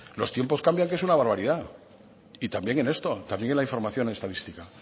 los tiempos cambian que es una barbaridad y también en esto también en la información estadística